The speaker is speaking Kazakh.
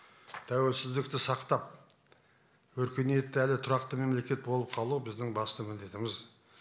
тәуелсіздікті сақтап өркениетті әрі тұрақты мемлекет болып қалу біздің басты міндетіміз